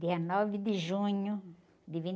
Dia nove de junho de